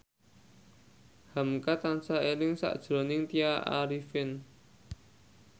hamka tansah eling sakjroning Tya Arifin